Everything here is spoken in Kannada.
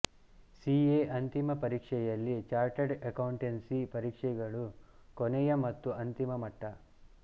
ಸಿಎ ಅಂತಿಮ ಪರೀಕ್ಷೆಯಲ್ಲಿ ಚಾರ್ಟರ್ಡ್ ಅಕೌಂಟೆನ್ಸಿ ಪರೀಕ್ಷೆಗಳು ಕೊನೆಯ ಮತ್ತು ಅಂತಿಮ ಮಟ್ಟ